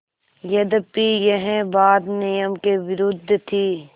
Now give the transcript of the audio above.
यद्यपि यह बात नियम के विरुद्ध थी